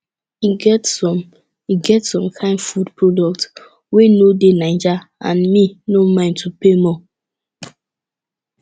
e get some e get some kain food products wey no dey naija and me no mind to pay more